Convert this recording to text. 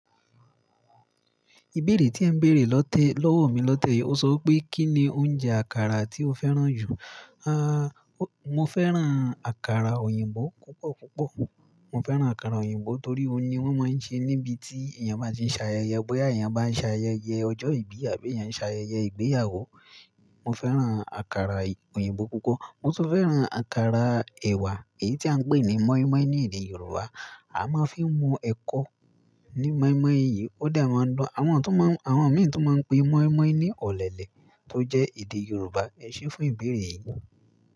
Ìbéèrè tí ẹ̀ ń béèrè lọ́tẹ́ lọ́wọ́ mi lọ́tẹ́ yí, ó sọ pé kíni oúnjẹ àkàrà tí o fẹ́ràn jù? Ah, mo fẹ́ràn àkàrà òyìnbó púpọ̀ púpọ̀. Mo fẹ́ràn àkàrà òyìnbó torí óun ní wọ́n máa ń ṣe níbi tí èèyàn bá ti ń ṣe ayẹyẹ, bóyá èèyàn bá ń ṣe ayẹyẹ ọjọ́ ìbí àbí èèyàn bá ń ṣe ayẹyẹ ìgbéyàwó. Mo fẹ́ràn àkàrà òyìnbó púpọ̀. Mo tún fẹ́ràn àkàrà ẹ̀wà, èyí tí à ń pè ní mọ́ínmọ́ín ní èdè Yorùbá. A máa ń fi mu ẹ̀kọ́ ní mọ́ínmọ́ín yìí, ó dẹ máa ń dun. Àwọn tún mọ-- àwọn mìíràn tún máa ń pe mọ́ínmọ́ín ní ọ̀lẹ̀lẹ̀ tó jẹ́ èdè Yorùbá. Ẹ ṣé fún ìbéèrè yìí.